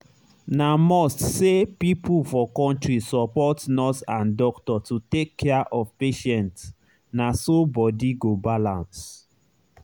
na must say people for country support nurse and doctor to take care of patient na so body go balance.